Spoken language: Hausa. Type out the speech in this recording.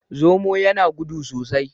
Zomo yana gudu sosai.